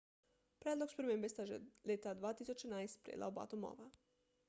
predlog spremembe sta že leta 2011 sprejela oba domova